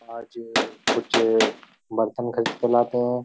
आज कुछ बर्तन ख़रीद के लाते हैं।